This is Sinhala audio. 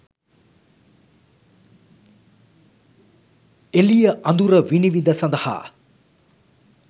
එළිය අඳුර විනිවිද සඳහා